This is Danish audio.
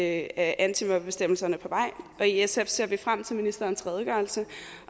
af antimobbebestemmelserne på vej og i sf ser vi frem til ministerens redegørelse